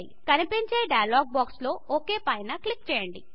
కనిపించే చిన్న dialog box లో ఒక్ పైన క్లిక్ చేయండి